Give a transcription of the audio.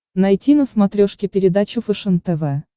найти на смотрешке передачу фэшен тв